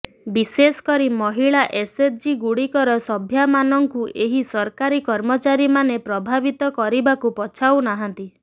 ବିଶେଷକରି ମହିଳା ଏସଏଚଜିଗୁଡ଼ିକର ସଭ୍ୟାମାନଙ୍କୁ ଏହି ସରକାରୀ କର୍ମଚାରୀମାନେ ପ୍ରଭାବିତ କରିବାକୁ ପଛାଉ ନାହାନ୍ତି